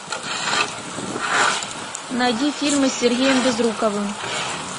найди фильмы с сергеем безруковым